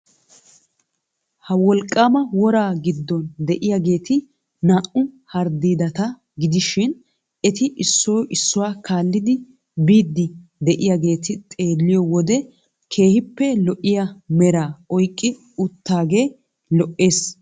Ha wolqqaama woraa giddon de'iyageti naa"u harddiidata gidishin eti issoy issuwa kaallidi biiddi de'iyageeti xeelliyo wode keehippe lo'iya meraa oyqqi uttaagee lo"ees.